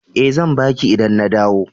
E, zan ba ki idan na dawo.